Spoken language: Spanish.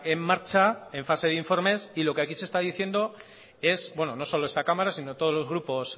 en marcha en fase de informes y lo que aquí se está diciendo es bueno no solo esta cámara sino todos los grupos